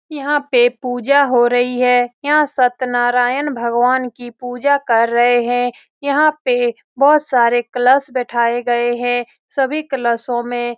यहाँ पे पूजा हो रही है यहाँ सत्यनारायण भगवान की पूजा कर रहे है यहाँ पे बहुत सारे कलश बिठाये गए गए हैं सभी कलशो में --